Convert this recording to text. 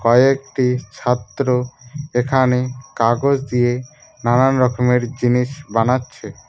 কয়েকটি ছাত্র এখানে কাগজ দিয়ে নানান রকমের জিনিস বানাচ্ছে।